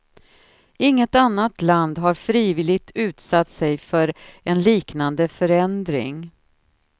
Inget annat land har frivilligt utsatt sig för en liknande förändring.